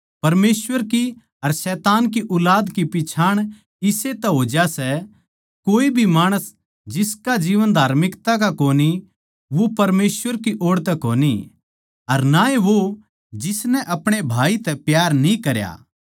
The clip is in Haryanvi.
अर आदम के बेट्टे कैन की ढाळ ना बणो जो उस शैतान की ओड़ तै था अर जिसनै अपणे भाई ताहीं मार दिया अर उस ताहीं क्यूँ मारया क्यूँके उसके खुद के काम बुरे थे अर उसके भाई के काम धरम के थे